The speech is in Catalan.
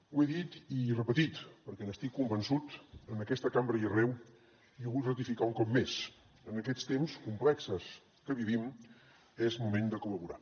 ho he dit i repetit perquè n’estic convençut en aquesta cambra i arreu i ho vull ratificar un cop més en aquests temps complexos que vivim és moment de col·laborar